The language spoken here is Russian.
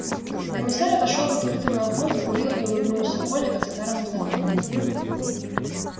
комиссар отошёл к открытому окну закурил и улыбнулся коле как старому знакомому